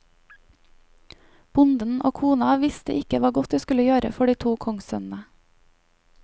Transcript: Bonden og kona hans visste ikke hva godt de skulle gjøre for de to kongssønnene.